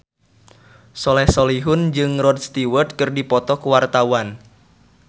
Soleh Solihun jeung Rod Stewart keur dipoto ku wartawan